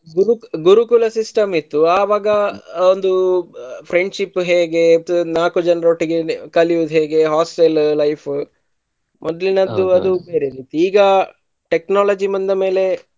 ಗುರುಕ್~ ಗುರುಕುಲ system ಇತ್ತು ಆವಾಗ ಅವ್ರ್ದು friendship ಉ ಹೇಗೆ ಇದು ನಾಲ್ಕು ಜನರೊಟ್ಟಿಗೆ ಕಲಿಯುದ್ ಹೇಗೆ hostel ಅ life ಉ ಮೊದ್ಲಿನದ್ದು ಅದು ಬೇರೆ ಇತ್ತು ಈಗ technology ಬಂದಮೇಲೆ.